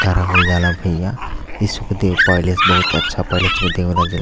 करावल जाला भईया। इस पहिले से बहोत अच्छा पहिले से --